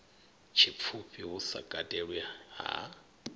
tshipfufhi hu sa katelwi ha